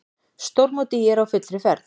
Stórmót ÍR á fullri ferð